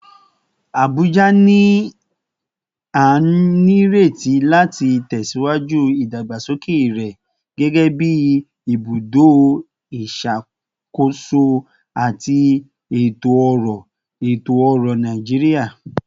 Abuja ni a nireti lati tẹsiwaju idagbasoke rẹ gẹgẹbi ibudo iṣakoso ati eto-ọrọ eto-ọrọ Naijiria